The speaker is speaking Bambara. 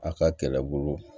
A ka kɛlɛbolo